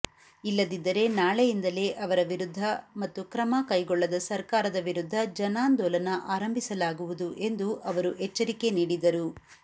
ಇಲ್ಲದಿದ್ದರೆ ನಾಳೆಯಿಂದಲೇ ಅವರ ವಿರುದ್ಧ ಮತ್ತು ಕ್ರಮ ಕೈಗೊಳ್ಳದ ಸರ್ಕಾರದ ವಿರುದ್ಧ ಜನಾಂದೋಲನ ಆರಂಭಿಸಲಾಗುವುದು ಎಂದು ಅವರು ಎಚ್ಚರಿಕೆ ನೀಡಿದರು